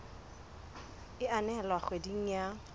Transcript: e a nehelwa kgweding ya